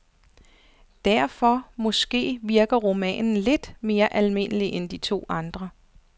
Derfor, måske, virker romanen lidt mere almindelig end de to andre.